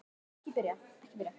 Hún hló að þessu.